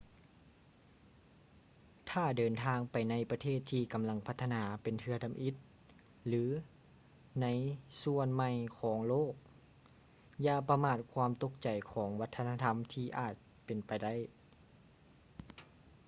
ຖ້າເດີນທາງໄປໃນປະເທດທີ່ກຳລັງພັດທະນາເປັນເທື່ອທຳອິດ ຫຼື ໃນສ່ວນໃໝ່ຂອງໂລກ ຢ່າປະມາດຄວາມຕົກໃຈຂອງວັດທະນະທຳທີ່ອາດເປັນໄປໄດ້